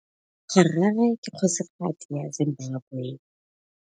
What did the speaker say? Harare ke kgosigadi ya Zimbabwe.